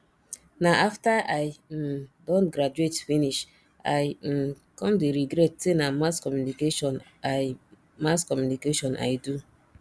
na after i um don graduate finish i um come dey regret say na mass communication i mass communication i do